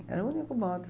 Era o único modo.